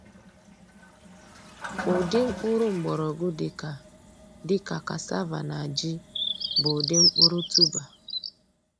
Ụdị mkpụrụ mgbọrọgwụ dịka dịka cassava na ji bụ ụdị mkpụrụ tuber.